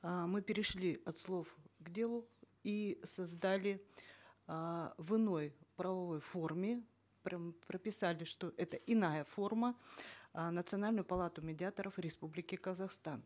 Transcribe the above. э мы перешли от слов к делу и создали э в иной правовой форме прямо прописали что это иная форма э национальную палату медиаторов республики казахстан